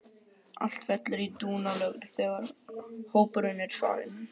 Allt fellur í dúnalogn þegar hópurinn er farinn.